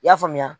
I y'a faamuya